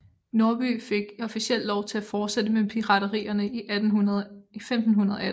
Norby fik officielt lov til at fortsætte med piraterierne i 1518